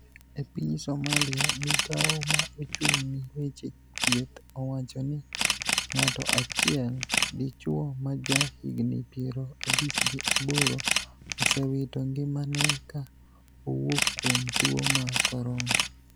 E piny Somalia, migao ma ochung ni weche thieth owacho ni ng'ato achiel, dichuo ma ja higni piero abich gi aboro osewito ngimane ka owuok kuom tuo mar corona